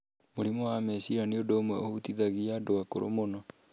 Mũrimũ wa meciria nĩ ũndũ ũmwe ũhutithagia andũ akũrũ mũno.